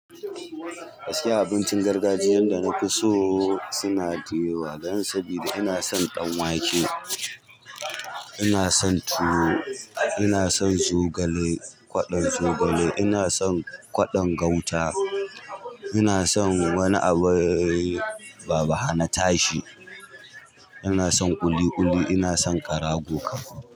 Gaskiya abincin gargajiyan da na fi so suna da yawa, don saboda ina son danwake, ina son tuwo, ina son zogale, kwaɗon zogale, ina son kwaɗon gauta, ina son wani abu baba hana tashi, ina son ƙuli ƙuli, ina son ƙarago kam.